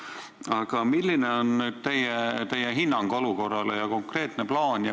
Aga milline on teie hinnang olukorrale ja konkreetne plaan?